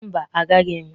Mba, agaghị m